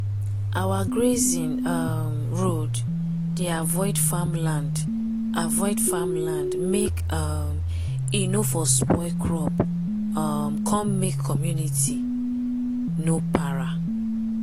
our grazing um road dey avoid farm land avoid farm land make um e nor for spoil crop um come make community no para.